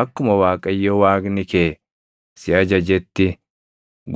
Akkuma Waaqayyo Waaqni kee si ajajetti